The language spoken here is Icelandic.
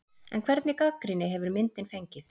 En hvernig gagnrýni hefur myndin fengið?